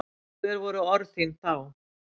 Hver voru orð þín þá?